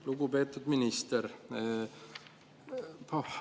Lugupeetud minister!